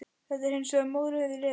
Þetta er hins vegar mórauður refur.